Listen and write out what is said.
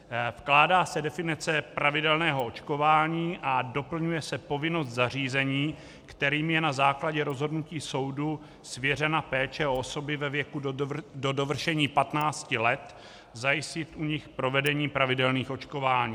Vkládá se definice pravidelného očkování a doplňuje se povinnost zařízení, kterým je na základě rozhodnutí soudu svěřena péče o osoby ve věku do dovršení 15 let, zajistit u nich provedení pravidelných očkování.